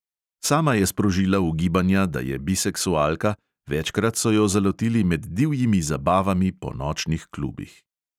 Sama je sprožila ugibanja, da je biseksualka, večkrat so jo zalotili med divjimi zabavami po nočnih klubih.